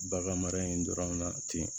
Bagan mara in dɔrɔn na ten